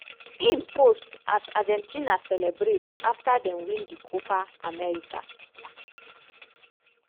im post as argentina celebrate afta dem win di copa america.